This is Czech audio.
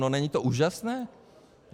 No není to úžasné?